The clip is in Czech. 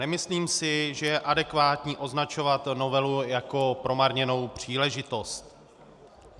Nemyslím si, že je adekvátní označovat novelu jako promarněnou příležitost.